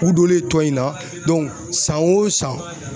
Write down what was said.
U donlen tɔ in na san o san